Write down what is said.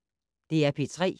DR P3